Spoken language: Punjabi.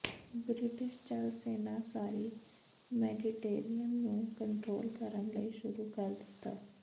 ਬ੍ਰਿਟਿਸ਼ ਜਲ ਸੈਨਾ ਸਾਰੀ ਮੈਡੀਟੇਰੀਅਨ ਨੂੰ ਕੰਟਰੋਲ ਕਰਨ ਲਈ ਸ਼ੁਰੂ ਕਰ ਦਿੱਤਾ